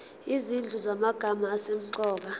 izinhlu zamagama asemqoka